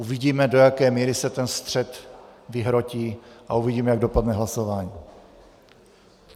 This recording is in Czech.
Uvidíme, do jaké míry se ten střed vyhrotí, a uvidíme, jak dopadne hlasování.